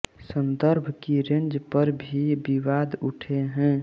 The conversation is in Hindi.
संदर्भ की रेंज पर भी विवाद उठे हैं